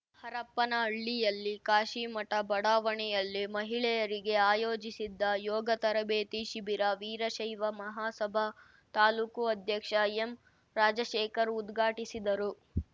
ಹರಪ್ಪನಹಳ್ಳಿ ಕಾಶೀಮಠ ಬಡಾವಣೆಯಲ್ಲಿ ಮಹಿಳೆಯರಿಗೆ ಆಯೋಜಿಸಿದ್ದ ಯೋಗ ತರಬೇತಿ ಶಿಬಿರ ವೀರಶೈವ ಮಹಾಸಭಾ ತಾಲೂಕು ಅಧ್ಯಕ್ಷ ಎಂರಾಜಶೇಖರ್‌ ಉದ್ಘಾಟಿಸಿದರು